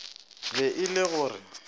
be e le go re